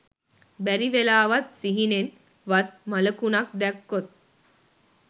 බැරිවෙලාවත් සිහිනෙන් වත් මළකුණක් දැක්කොත්